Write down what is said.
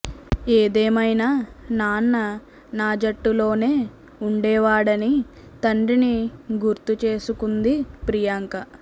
ఏదేమైనా నాన్న నా జట్టులోనే ఉండేవాడని తండ్రిని గుర్తు చేసుకుంది ప్రియాంక